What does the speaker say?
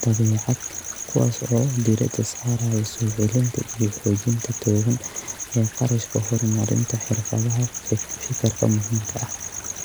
'dabeecad', kuwaas oo diiradda saaraya soo celinta iyo xoojinta togan ee kharashka horumarinta xirfadaha fekerka muhiimka ah.